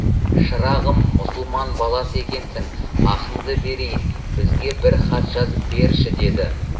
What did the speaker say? шырағым мұсылман баласы екенсің ақыңды берейін бізге бір хат жазып берші деді